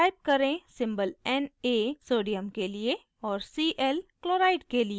type करें symbol na sodium के लिए और cl chloride के लिए